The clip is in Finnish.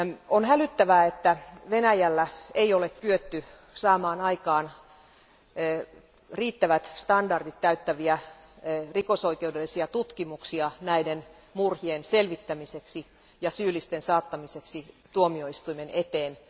On hälyttävää, että Venäjällä ei ole kyetty saamaan aikaan riittävät standardit täyttäviä rikosoikeudellisia tutkimuksia näiden murhien selvittämiseksi ja syyllisten saattamiseksi tuomioistuimen eteen.